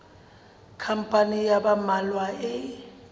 khampani ya ba mmalwa e